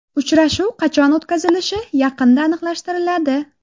Uchrashuv qachon o‘tkazilishi yaqinda aniqlashtiriladi.